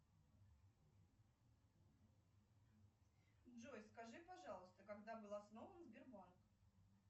джой скажи пожалуйста когда был основан сбербанк